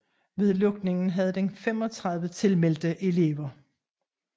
Ved lukningen havde den 35 tilmeldte elever